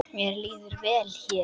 Mér líður vel hér.